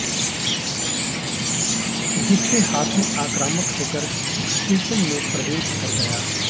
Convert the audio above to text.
जिससे हाथी आक्रामक होकर स्टेशन में प्रवेश कर गया